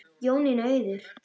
Jónína Auður.